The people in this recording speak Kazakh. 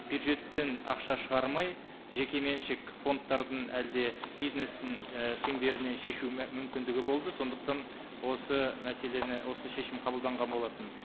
бюджеттен ақша шығармай жекеменшік фондтардың әлде бизнестің і шеңберінен шешу мүмкіндігі болды сондықтан осы мәселені осы шешім қабылданған болатын